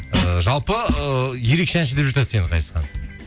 ыыы жалпы ы ерекше әнші деп жатады сені ғазизхан